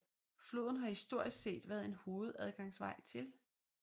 Floden har historisk set været en hovedadgangsvej til